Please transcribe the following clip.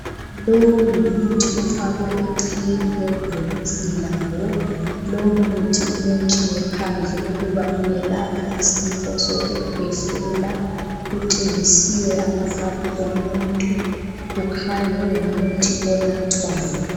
Lowo ngumuthi ofakwe eceleni kwebhokisi lawo lowo muthi ulotshiwe phandle ukuba uwelapha isifo sokukwehlela kutshengisiwe amaphaphu womunye umuntu kukhanya kungumuthi onathwayo.